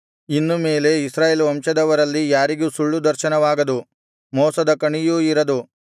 ಇನ್ನು ಮೇಲೆ ಇಸ್ರಾಯೇಲ್ ವಂಶದವರಲ್ಲಿ ಯಾರಿಗೂ ಸುಳ್ಳು ದರ್ಶನವಾಗದು ಮೋಸದ ಕಣಿಯೂ ಇರದು